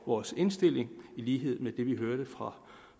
vores indstilling i lighed med det vi hørte fra